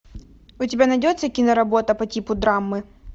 у тебя найдется киноработа по типу драмы